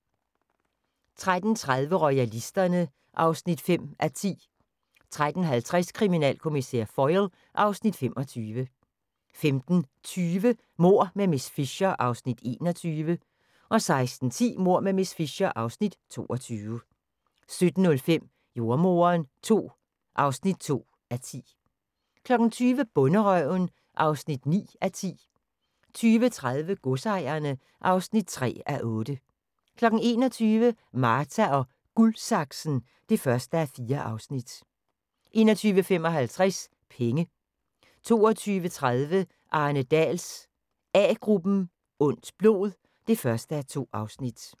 13:30: Royalisterne (5:10) 13:50: Kriminalkommissær Foyle (Afs. 25) 15:20: Mord med miss Fisher (Afs. 21) 16:10: Mord med miss Fisher (Afs. 22) 17:05: Jordemoderen II (2:10) 20:00: Bonderøven (9:10) 20:30: Godsejerne (3:8) 21:00: Marta & Guldsaksen (1:4) 21:55: Penge 22:30: Arne Dahls A-gruppen: Ondt blod (1:2)